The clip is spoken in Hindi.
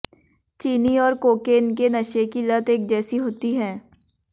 चीनी और कोकेन के नशे की लत एक जैसी होती है